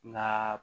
N'a